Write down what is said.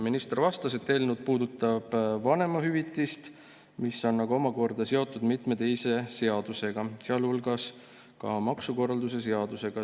Minister vastas, et eelnõu puudutab vanemahüvitist, mis on aga omakorda seotud mitme teise seadusega, sealhulgas maksukorralduse seadusega.